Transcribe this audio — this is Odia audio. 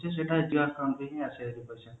ସେ ସେଟା ବ୍ଯାଙ୍କ account ରେ ହିଁ ଆସିବ ସେ ପଇସା